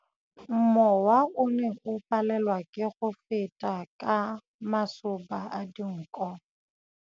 Mowa o ne o palelwa ke go feta ka masoba a dinko.